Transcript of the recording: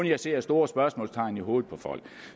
jeg ser store spørgsmålstegn i hovedet på folk